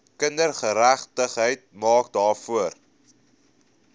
kindergeregtigheid maak daarvoor